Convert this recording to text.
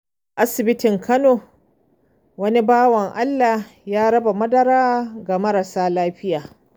A asibitin Kano, wani bawan Allah ya raba madara ga marasa lafiya.